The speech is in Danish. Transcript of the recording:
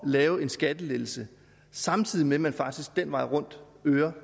lave en skattelettelse samtidig med at man faktisk den vej rundt øger